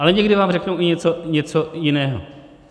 Ale někdy vám řeknou i něco jiného.